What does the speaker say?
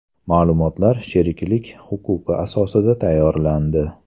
Ma’lumotlar sheriklik huquqi asosida tayyorlandi.